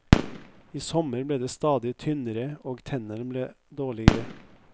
I sommer ble de stadig tynnere, og tennene ble dårlige.